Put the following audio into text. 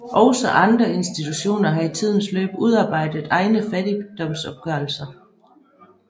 Også andre institutioner har i tidens løb udarbejdet egne fattigdomsopgørelser